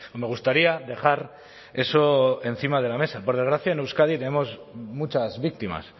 me gustaría dejar eso encima de la mesa por desgracia en euskadi tenemos muchas víctimas